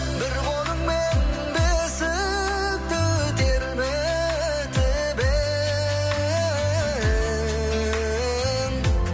бір қолыңмен бесікті тербетіп ең